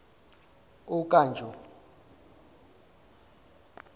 okanjo